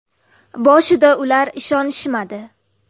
Boshida ular ishonishmadi.